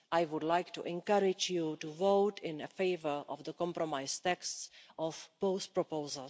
I would like to encourage you to vote in favour of the compromise texts of both proposals.